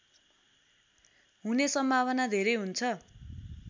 हुने सम्भावना धेरै हुन्छ